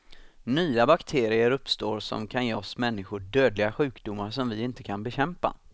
Nya bakterier uppstår som kan ge oss människor dödliga sjukdomar som vi inte kan bekämpa.